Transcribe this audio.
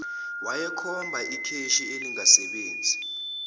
wayekhomba ikheshi elingasebenzi